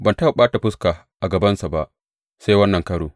Ban taɓa ɓata fuskata a gabansa ba, sai wannan karo.